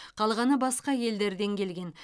қалғаны басқа елдерден келген